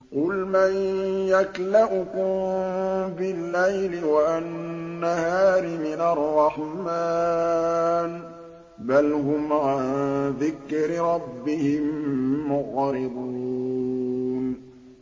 قُلْ مَن يَكْلَؤُكُم بِاللَّيْلِ وَالنَّهَارِ مِنَ الرَّحْمَٰنِ ۗ بَلْ هُمْ عَن ذِكْرِ رَبِّهِم مُّعْرِضُونَ